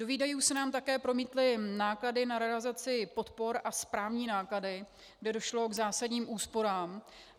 Do výdajů se nám také promítly náklady na realizaci podpor a správní náklady, kde došlo k zásadním úsporám.